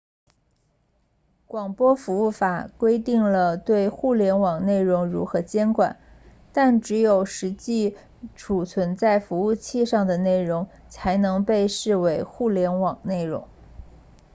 广播服务法规定了对互联网内容如何监管但只有实际储存在服务器上的内容才能被视为互联网内容